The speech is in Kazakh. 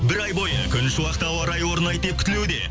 бір ай бойы күншуақты ауа райы орнайды деп күтілуде